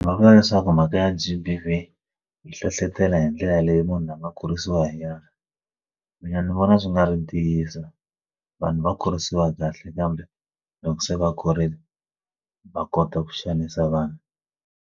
a vula leswaku mhaka ya G_B_V yi hlohlotela hi ndlela leyi munhu la nga kurisiwa hi ya mina ni vona swi nga ri ntiyiso vanhu va kurisiwa kahle kambe loko se va kurile va kota ku xanisa vanhu.